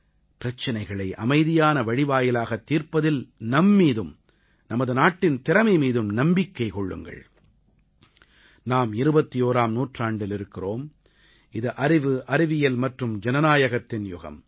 பிரச்சனைகளை அமைதியான வழிவாயிலாகத் தீர்ப்பதில் நம் மீதும் நமது நாட்டின் திறமை மீதும் நம்பிக்கை வையுங்கள் நாம் 21ஆம் நூற்றாண்டில் இருக்கிறோம் இது அறிவுஅறிவியல் மற்றும் ஜனநாயகத்தின் யுகம்